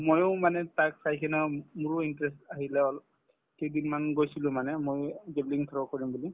ময়ো মানে তাক চাই কিনেও মোৰো interest আহিলে অল কেইদিন মান গৈছিলো মানে ময়ো javelin throw কৰিম বুলি